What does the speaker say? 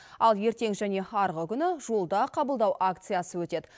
ал ертең және арғы күні жолда қабылдау акциясы өтеді